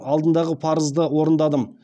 алдындағы парызды орындадым